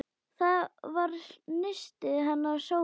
Það var nistið hennar Sólu.